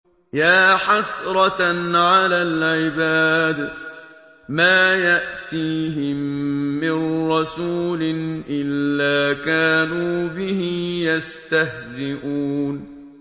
يَا حَسْرَةً عَلَى الْعِبَادِ ۚ مَا يَأْتِيهِم مِّن رَّسُولٍ إِلَّا كَانُوا بِهِ يَسْتَهْزِئُونَ